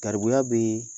Garibuya bɛ